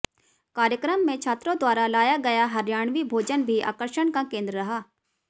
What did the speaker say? कार्यक्रम में छात्रों द्वारा लाया गया हरियाणवी भोजन भी आकर्षण का केन्द्र रहा